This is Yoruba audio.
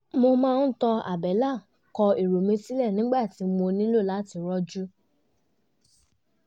mo máa tan àbẹ́lẹ̀ kọ èrò mi sílẹ̀ nígbà tí mo nílò láti rojú